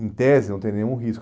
Em tese, não tem nenhum risco.